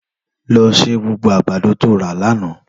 Lò sé gbógbó àgbádó tó rà lànã